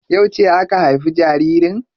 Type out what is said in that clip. Yauce aka haifi jaririn?